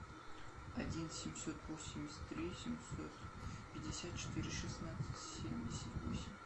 один семьсот восемьдесят три семьсот пятьдесят четыре шестнадцать семьдесят восемь